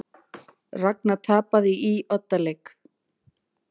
Ragna tapaði í oddaleik